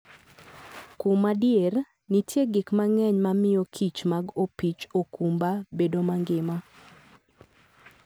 Kuom adier, nitie gik mang'eny mamiyo kich mag opich okumba bedo mangima.